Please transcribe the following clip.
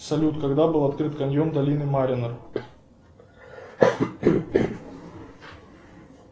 салют когда был открыт каньон долины марино